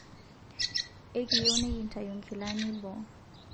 ekiiyieu nikintayu nkilani boo